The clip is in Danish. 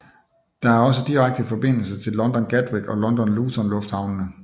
Der er også direkte forbindelse til London Gatwick og London Luton lufthavnene